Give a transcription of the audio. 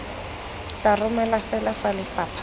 tla romelwa fela fa lefapha